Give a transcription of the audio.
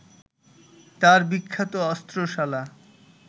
তাঁর বিখ্যাত অস্ত্রশালা